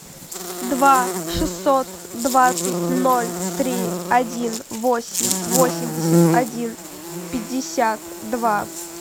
два шестьсот двадцать ноль три один восемь восемьдесят один пятьдесят два